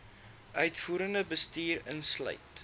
uitvoerende bestuur insluit